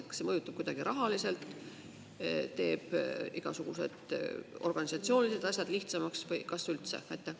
Kas see mõjutab kuidagi rahaliselt, teeb igasugused organisatsioonilised asjad lihtsamaks, või kas üldse?